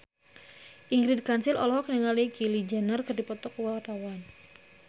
Ingrid Kansil olohok ningali Kylie Jenner keur diwawancara